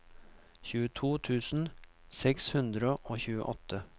tjueto tusen seks hundre og tjueåtte